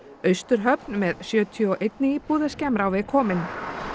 Austurhöfn með sjötíu og einni íbúð er skemmra á veg komin í